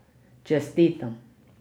Čestitam.